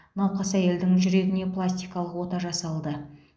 науқас әйелдің жүрегіне пластикалық ота жасалды